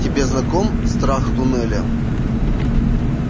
тебе знаком страх туннеля